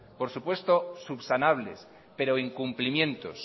por supuesto subsanables pero incumplimientos